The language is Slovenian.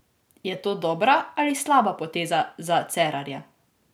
Je to dobra ali slaba poteza za Cerarja?